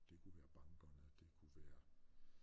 Det kunne være bankerne det kunne være